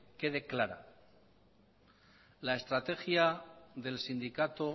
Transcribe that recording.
quede clara la estrategia del sindicato